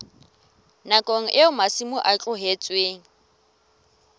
nakong eo masimo a tlohetsweng